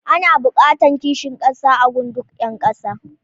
Ana buƙatar kishin ƙasa a gun duk ƴa ƙasa.